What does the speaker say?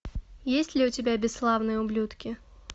есть ли у тебя бесславные ублюдки